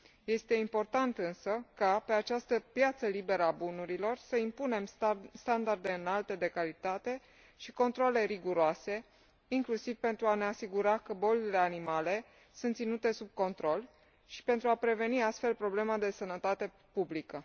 Este important însă ca pe această piață liberă a bunurilor să impunem standarde înalte de calitate și controale riguroase, inclusiv pentru a ne asigura că bolile animalelor sunt ținute sub control și pentru a preveni astfel probleme de sănătate publică.